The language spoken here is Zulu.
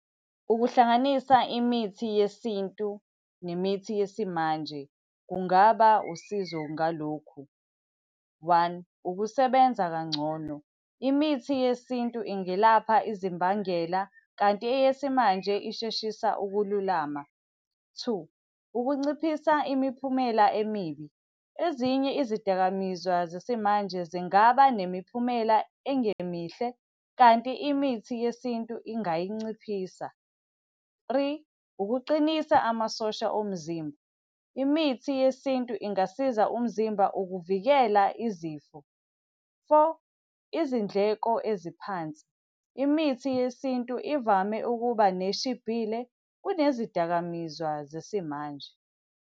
Ukuhlanganisa imithi yeSintu nemithi yesimanje kungaba usizo ngalokhu. One, ukusebenza kangcono. Imithi yeSintu ingelapha izimbangela, kanti eyesimanje isheshisa ukululama. Two, ukunciphisa imiphumela emibi. Ezinye izidakamizwa zesimanje zingaba nemiphumela engemihle, kanti imithi yeSintu ingayinciphisa. Three, ukuqinisa amasosha omzimba. Imithi yeSintu ingasiza umzimba ukuvikela izifo. Four, izindleko eziphansi. Imithi yeSintu ivame ukuba neshibhile kunezidakamizwa zesimanje.